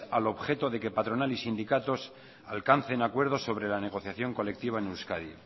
al objeto de que patronal y sindicatos alcancen acuerdos sobre la negociación colectiva en euskadi